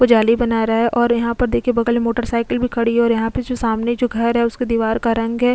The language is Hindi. को जाली बना रहा है और यहां पर देखिए बगल मोटरसाइकिल भी खड़ी है और यहां पे जो सामने जो घर है उसकी दीवार का रंग --